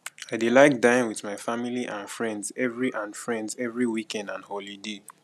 i dey like dine with my family and friends every and friends every weekend and holiday